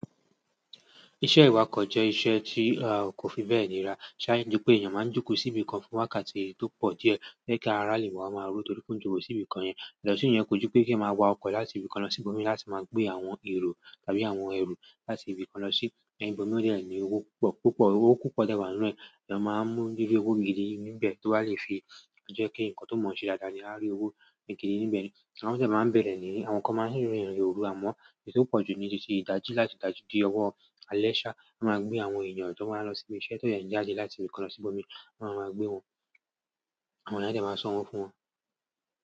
Iṣẹ́ ìwakọ̀ jẹ́ iṣẹ́ tí a kò fi bẹ́ẹ̀ níra. Ṣáájú pé èèyàn máa ń jókòó sí ibi kan fún wákàtí tó pọ̀ díẹ̀ je kí a arale wa máa ró torí pe ojokòó sí ibi kan yẹn. Yàtọ̀ si iyen kò jú pé ki eyan máa wa ọkọ̀ láti ibìkan lọ sí ibòmíràn láti máa gbé àwọn èrò tàbí àwọn ẹrù láti ibìkan lọ sí ibòmíràn, o de ni owó púpọ̀. Owó púpọ̀ de wa nínú ẹ̀. Ẹ̀yàn máa ń mú—ri owó gidi níbẹ̀ tó bá lè fi jẹ́ kí nǹkan tó mọ̀ sí dáadáa ni a rí owó gidi níbẹ̀ ni. Ti won de máa ń bẹ̀rẹ̀ ní, àwọn kan máa ń rìn irin òru, àmọ́ èyí tó pọ̀jù ni tìtì ìdájí láti ìdájí di ọwọ́ àlẹ́ sa máa gbé àwọn èèyàn to baa n lo sí ibi iṣẹ́, ti eyan ye n jáde láti ibìkan lọ sí ibòmíràn máa ń gbé wọn. Àwọn ye n a de máa sọ wọ́ fún wọn.